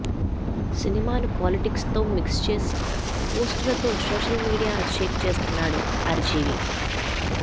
సినిమాను పాలిటిక్స్తో మిక్స్ చేసి పోస్టులతో సోషల్ మీడియాను షేక్ చేస్తున్నాడు ఆర్జీవి